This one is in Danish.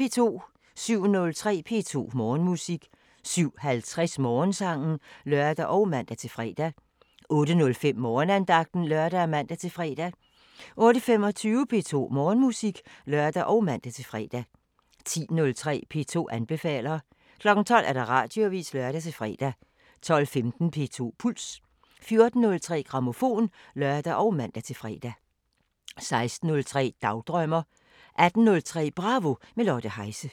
07:03: P2 Morgenmusik 07:50: Morgensangen (lør og man-fre) 08:05: Morgenandagten (lør og man-fre) 08:25: P2 Morgenmusik (lør og man-fre) 10:03: P2 anbefaler 12:00: Radioavisen (lør-fre) 12:15: P2 Puls 14:03: Grammofon (lør og man-fre) 16:03: Dagdrømmer 18:03: Bravo – med Lotte Heise